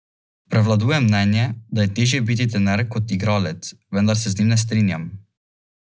Dodal je, da bi bil sicer najbolj vesel nove ponudbe za nakup Teta.